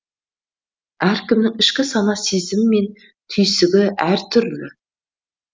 әркімнің ішкі сана сезімі мен түйсігі әртүрлі